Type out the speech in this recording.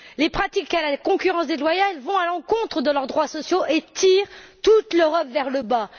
Les pratiques de concurrence déloyale vont à l'encontre de leurs droits sociaux et tirent toute l'Europe vers le bas.